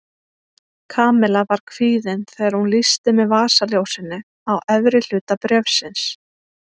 Kamilla var kvíðin þegar hún lýsti með vasaljósinu á efri hluta bréfsins.